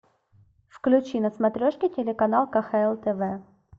включи на смотрешке телеканал кхл тв